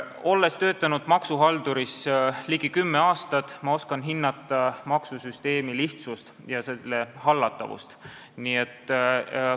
Olles töötanud ligi kümme aastat maksuametis, oskan ma hinnata maksusüsteemi lihtsust ja selle hallatavust.